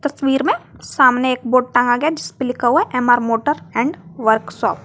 तस्वीर में सामने एक बोर्ड टंगा गया है जिस पे लिखा हुआ M R motor and workshop.